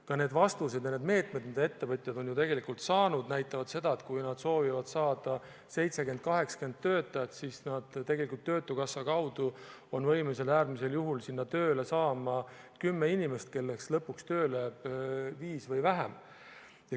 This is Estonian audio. Ka need vastused ja need meetmed, mida ettevõtjad on ju saanud, näitavad, et kui nad soovivad saada 70–80 töötajat, siis töötukassa kaudu on võimalik äärmisel juhul tööle saada 10 inimest, kellest lõpuks tööle jääb viis või vähem.